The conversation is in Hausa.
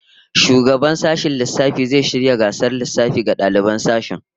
Shugaban sashen lissafi zai shirya gasar lissafi ga daliban sashen